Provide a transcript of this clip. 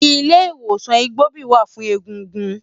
Ilé Iwósán Igbóbi wá fún égúngún